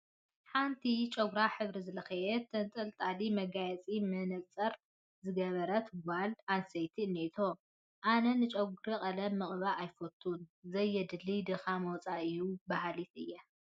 ሓንቲ ጨጉራ ሕብሪ ዝለኸየት፣ ተንጠልጣሊ መጋየፅን መነፀርን ዝገበረት ጓል ኣነስተይቲ እኔቶ፡፡ ኣነ ንጨጉሪ ቀለም ምቅባእ ኣይፈቱን፡፡ ዘየድሊ ድኻምን ወፃኢን እዩ በሃሊ እየ፡፡